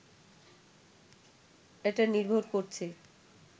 এটা নির্ভর করছে